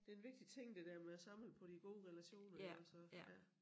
Det en vigtig ting det der med at samle på de gode relationer ikke også ja